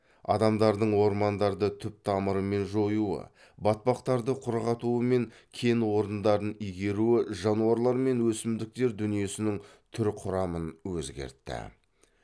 адамдардың ормандарды түп тамырымен жоюы батпақтарды құрғатуы мен кен орындарын игеруі жануарлар мен өсімдіктер дүниесінің түр құрамын өзгертті